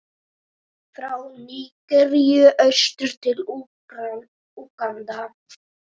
frá Nígeríu austur til Úganda.